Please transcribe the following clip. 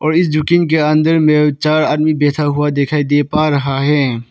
Fridge के अंदर में चार आदमी बैठा हुआ दिखाई दे पा रहा है।